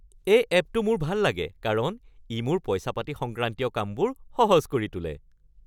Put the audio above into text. এই এপটো মোৰ ভাল লাগে কাৰণ ই মোৰ পইচা-পাতি সংক্ৰান্তীয় কামবোৰ সহজ কৰি তোলে।